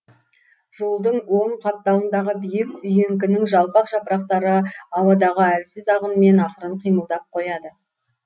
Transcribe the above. жолдың оң қапталындағы биік үйеңкінің жалпақ жапырақтары ауадағы әлсіз ағынмен ақырын қимылдап қояды